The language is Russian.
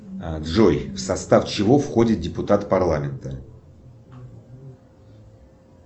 джой в состав чего входит депутат парламента